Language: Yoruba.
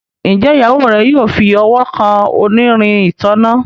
Njé Ìyàwó rẹ yóò fí ọwọ kàn onírin ìtanná?